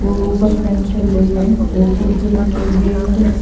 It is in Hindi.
और ऊपर फैन चल रही है और कुर्सी रखी हुई है एक।